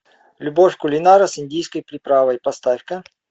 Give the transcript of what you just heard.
любовь кулинара с индийской приправой поставь ка